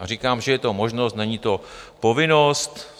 A říkám, že je to možnost, není to povinnost.